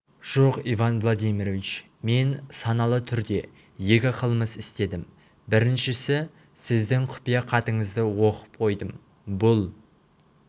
жоқ иван владимирович мен саналы түрде екі қылмыс істедім біріншісі сіздің құпия хатыңызды оқып қойдым бұл